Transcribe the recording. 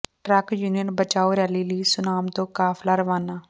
truck union ਬਚਾਓ rally ਲਈ ਸੁਨਾਮ ਤੋਂ ਕਾਫ਼ਲਾ ਰਵਾਨਾ